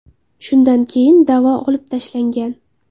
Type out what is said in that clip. Shundan keyin da’vo olib tashlangan.